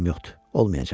olmayacaqdır.